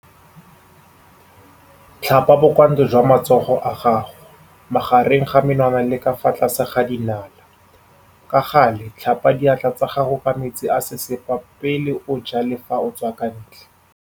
Tlhapa bokwantle jwa matsogo a gago, magareng ga menwana le ka fa tlase ga dinala. Ka gale tlhapa diatla tsa gago ka metsi a sesepa pele o ja le fa o tswa kwa ntle.